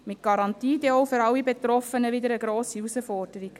– Mit Garantie dann auch für alle Betroffenen wieder eine grosse Herausforderung.